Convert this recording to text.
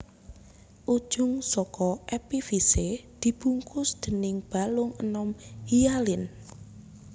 Ujung saka epifise dibungkus déning balung enom hialin